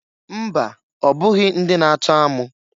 Mba! Ọbụghị ndị na-atọ amụ.